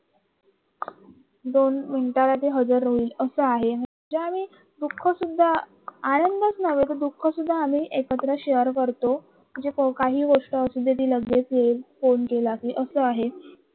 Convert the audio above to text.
दोन मिनिटांमध्ये हजर राहिल असा आहे ज्यावेळी दुख शुद्धा आनंदच नाही तर दुःख सुद्धा म्हणजे आम्ही एकत्र शेअर करतो तिला लगेच येईल फोन केला की असं